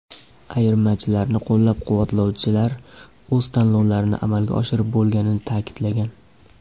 Ayirmachilarni qo‘llab-quvvatlovchilar o‘z tanlovlarini amalga oshirib bo‘lganini ta’kidlagan.